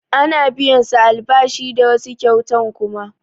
A ana biyan su albashi da wasu kyautan kuma